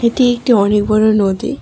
এটি একটি অনেক বড় নদী।